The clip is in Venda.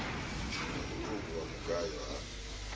na mutuku wa mugayo ha